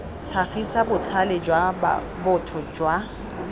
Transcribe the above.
tlhagisa botlhale jwa botho jwa